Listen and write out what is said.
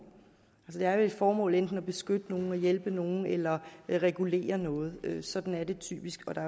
det er vel et formål enten at beskytte nogle hjælpe nogle eller regulere noget sådan er det typisk og der